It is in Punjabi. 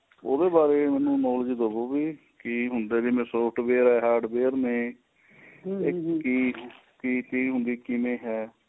ਉਹਦੇ ਬਾਰੇ ਮੈਨੂੰ knowledge ਦਵੋ ਕਿ ਹੁੰਦਾ ਜਿਵੇ software ਨੇ hardware ਨੇ ਏਹ ਕਿ ਚੀਜ ਹੁੰਦੀ ਏ ਕਿਵੇਂ ਏਹ